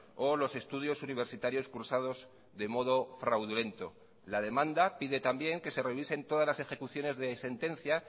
o los estudios universitarios cursados de modo fraudulento la demanda pide también que se revisen todas las ejecuciones de sentencia